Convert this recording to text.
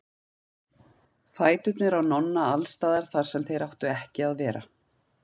Fæturnir á Nonna alls staðar þar sem þeir áttu ekki að vera.